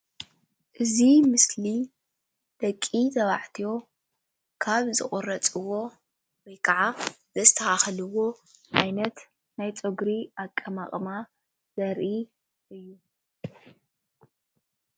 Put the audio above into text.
እዚ ምስሊ ደቂ ተባልዕትዮ ካብ ዝቑረፅዎ ወይ ካዓ ዘስተኻኽልዎ ዓይነት ናይ ፀጉሪ ኣቀማቕማ ዘርኢ እዩ፡፡